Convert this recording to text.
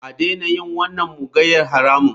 A daina yin wannan mugunyar haramun.